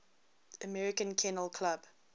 american kennel club